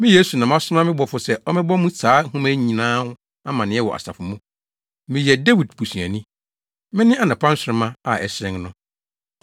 “Me, Yesu, na masoma me bɔfo sɛ ɔmmɛbɔ mo saa nhoma yi nyinaa ho amanneɛ wɔ asafo mu. Meyɛ Dawid busuani. Mene anɔpa nsoromma a ɛhyerɛn no.”